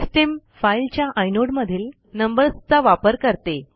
system फाईलच्या आयनोडमधील नंबर्सचा वापर करते